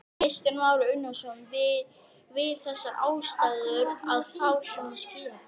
Kristján Már Unnarsson: Við þessar aðstæður að fá svona skilaboð?